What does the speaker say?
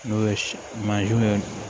N'o ye mansin ye